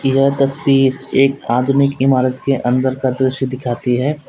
यह तस्वीर एक आदमी की इमारत के अंदर का दृश्य दिखाती है।